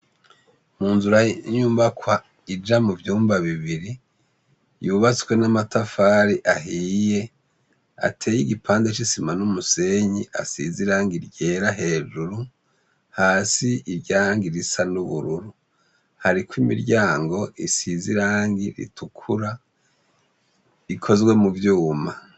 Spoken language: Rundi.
Mu nzura nyumbakwa ija mu vyumba bibiri yubatswe n'amatafari ahiye ateye igipande c'isima n'umusenyi asizirangi ryera hejuru hasi iryangi risa n'ubururu hariko imiryango isizirangi ritukura ikozwa mu vyuma.